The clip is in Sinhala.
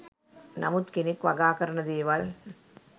නමුත් කෙනෙක් වගා කරන දේවල්